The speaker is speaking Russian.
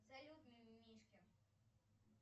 салют мимимишки